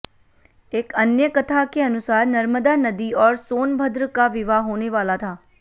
एक अन्य कथा के अनुसार नर्मदा नदी और सोनभद्र का विवाह होने वाला था